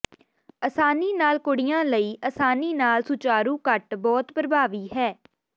ਆਸਾਨੀ ਨਾਲ ਕੁੜੀਆਂ ਲਈ ਆਸਾਨੀ ਨਾਲ ਸੁਚਾਰੂ ਕੱਟ ਬਹੁਤ ਪ੍ਰਭਾਵੀ ਹੈ